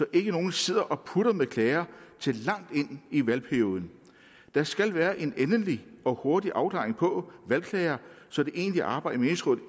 ikke nogen sidder og putter med klager til langt ind i valgperioden der skal være en endelig og hurtig afklaring på valgklager så det egentlige arbejde